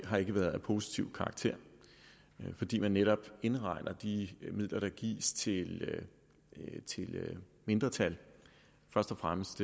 har ikke været af positiv karakter fordi man netop indregner de midler der gives til mindretal først og fremmest